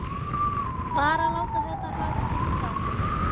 Bara láta þetta hafa sinn gang.